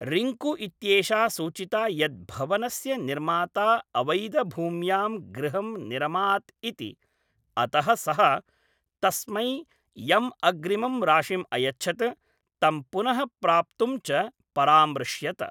रिङ्कु इत्येषा सूचिता यत् भवनस्य निर्माता अवैधभूम्यां गृहं निरमात् इति, अतः सः तस्मै यम् अग्रिमं राशिम् अयच्छत्, तं पुनः प्राप्तुं च परामृश्यत।